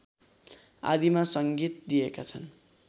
आदिमा संगीत दिएका छन्